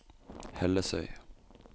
Hellesøy